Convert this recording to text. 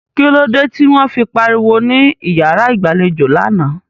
Kílódé tí wọ́n fi pariwo ní yàrá ìgbẹ́jọ́ lánàá?